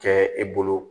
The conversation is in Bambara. Kɛ i bolo